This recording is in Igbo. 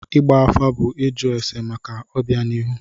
Ịgba afa bụ ịjụ ese maka ọbịanihu.